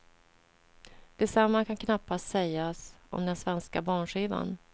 Detsamma kan knappast sägas om den svenska barnskivan.